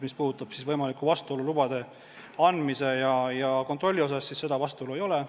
Mis puudutab võimalikku vastuolu lubade andmise ja kontrolli osas, siis seda vastuolu ei ole.